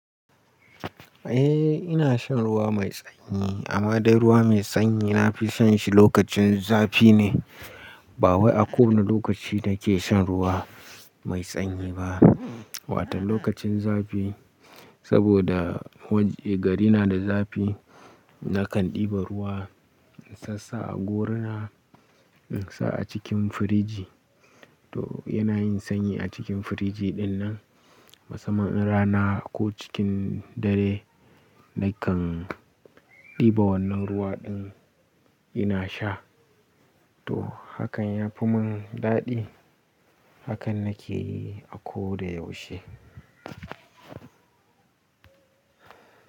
Eh ina shan ruwa mai sanyi amma dai ruwa mai sanyi nafi shan shi lokacin zafi ne. Ba wai a ko wane lokaci nake shan ruwa mai sanyi ba. Watan lokacin zafi saboda waje gari na da zafi nakan ɗiba ruwa sassa a gona, insa a cikin firiji. To yana yin sanyi a cikin firiji dinnan. Masamman rana ko cikin dare nakan ɗiba wannan ruwa din ina sha. To hakan yafi mun daɗi. Hakan nake yi a ko da yaushe.